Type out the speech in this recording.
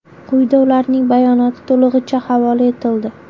Quyida ularning bayonoti to‘lig‘icha havola etildi.